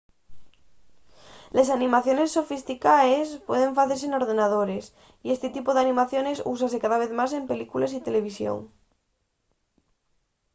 les animaciones sofisticaes pueden facese n’ordenadores y esti tipu d’animaciones úsase cada vez más en películes y televisión